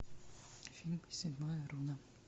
фильм седьмая руна